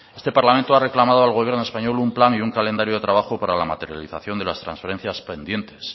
este parlamento ha reclamado al gobierno español un plan y un calendario de trabajo para la materialización de las transferencias pendientes